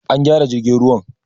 An gyara jirgin ruwan